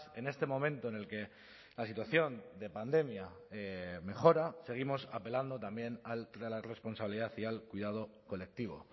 en este momento en el que la situación de pandemia mejora seguimos apelando también a la responsabilidad y al cuidado colectivo